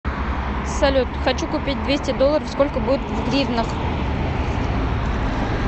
салют хочу купить двести долларов сколько будет в гривнах